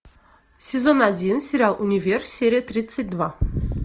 сезон один сериал универ серия тридцать два